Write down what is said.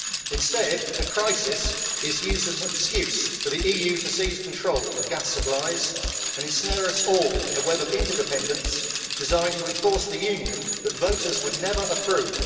Instead, the crisis is used as an excuse for the EU to seize control of gas supplies and ensnare us all in a web of interdependence designed to enforce the Union that voters would never approve.